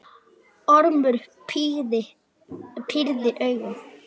Ormur pírði augun.